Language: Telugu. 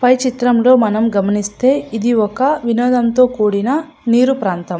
పై చిత్రం లో మనం గమనిస్తే ఇది ఒక వినోధం తో కూడిన నీరు ప్రాంతం.